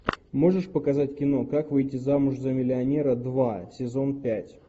можешь показать кино как выйти замуж за миллионера два сезон пять